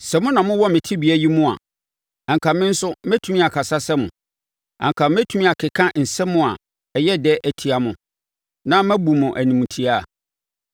Sɛ mo na mowɔ me tebea yi mu a, anka me nso mɛtumi akasa sɛ mo; anka mɛtumi akeka nsɛm a ɛyɛ dɛ atia mo na mabu mo animtiaa.